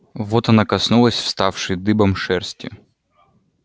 вот она коснулась вставшей дыбом шерсти